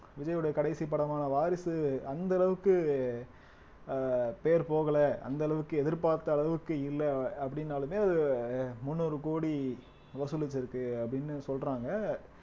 விஜயுடைய கடைசி படமான வாரிசு அந்த அளவுக்கு அஹ் பேர் போகல அந்த அளவுக்கு எதிர்பார்த்த அளவுக்கு இல்ல அப்படின்னாலுமே அஹ் முந்நூறு கோடி வசூலிச்சிருக்கு அப்படின்னு சொல்றாங்க